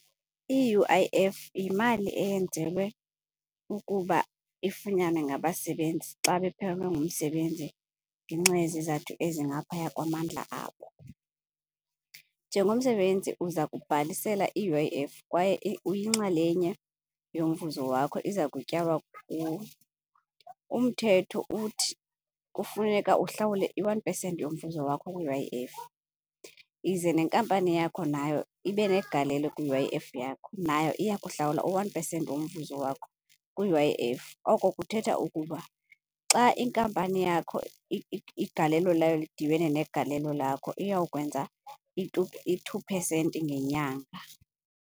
I-U_I_F yimali eyenzelwe ukuba ifunyanwe ngabasebenzi xa baphelelwe ngumsebenzi ngenxa yezizathu ezingaphaya kwamandla abo. Njengomsebenzi uza kubhalisela i-U_I_F kwaye uyinxalenye yomvuzo wakho iza kutyalwa kuwe. Umthetho uthi kufuneka uhlawule u-one percent yomvuzo wakho kwi-U_I_F ize neenkampani yakho nayo ibenegalelo kwi-U_I_F yakho, nayo iya kuhlawula u-one percent womvuzo wakho kwi-U_I_F. Oko kuthetha ukuba xa inkampani yakho igalelo layo lidibane negalelo lakho uyawukwenza i-two percent ngenyanga.